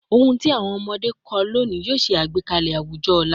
Ohun ti awọn ọmọde kọ loni yoo ṣe agbekalẹ awujọ ọla